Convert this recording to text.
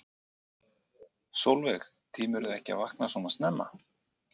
Sólveig: Tímirðu ekki að vakna svona snemma?